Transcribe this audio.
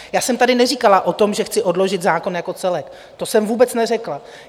Já jsem tady neříkala o tom, že chci odložit zákon jako celek, to jsem vůbec neřekla.